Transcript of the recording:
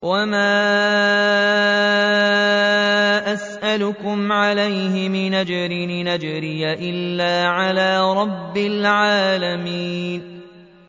وَمَا أَسْأَلُكُمْ عَلَيْهِ مِنْ أَجْرٍ ۖ إِنْ أَجْرِيَ إِلَّا عَلَىٰ رَبِّ الْعَالَمِينَ